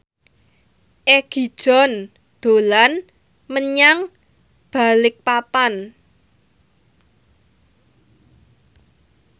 Egi John dolan menyang Balikpapan